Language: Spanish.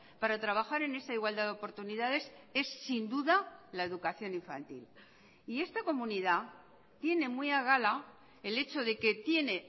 para trabajar en esa igualdad de oportunidades es sin duda la educación infantil y esta comunidad tiene muy a gala el hecho de que tiene